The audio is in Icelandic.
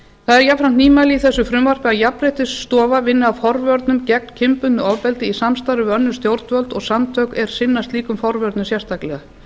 það er jafnframt nýmæli í þessu frumvarpi að jafnréttisstofa vinni að forvörnum gegn kynbundnu ofbeldi í samstarfi við önnur stjórnvöld og samtök er sinna slíkum forvörnum sérstaklega